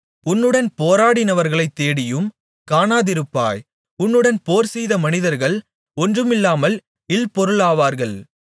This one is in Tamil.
உன்னுடன் போராடினவர்களைத் தேடியும் காணாதிருப்பாய் உன்னுடன் போர்செய்த மனிதர்கள் ஒன்றுமில்லாமல் இல்பொருளாவார்கள்